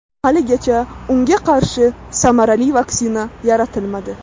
Haligacha unga qarshi samarali vaksina yaratilmadi.